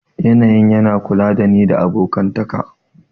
Yanayin yana kula da ni da abokantaka